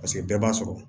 Paseke bɛɛ b'a sɔrɔ